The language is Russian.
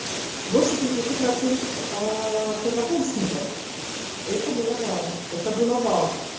больше тридцати процентов первокурсников это было вау это было вау